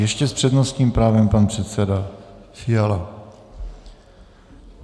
Ještě s přednostním právem pan předseda Fiala.